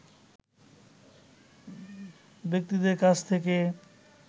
ব্যক্তিদের কাছ থেকে